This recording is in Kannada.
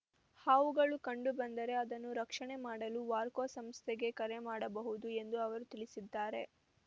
ಹಾವುಗಳು ಕಂಡು ಬಂದರೆ ಅದನ್ನು ರಕ್ಷಣೆ ಮಾಡಲು ವಾರ್ಕೊ ಸಂಸ್ಥೆಗೆ ಕರೆ ಮಾಡಬಹುದು ಎಂದು ಅವರು ತಿಳಿಸಿದ್ದಾರೆ